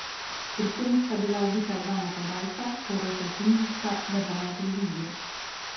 Pri tem sta bila ubita dva napadalca, poroča tunizijska državna televizija.